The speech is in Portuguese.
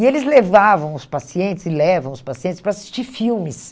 E eles levavam os pacientes e levam os pacientes para assistir filmes.